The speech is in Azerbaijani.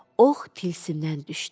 Ox tilsimdən düşdü.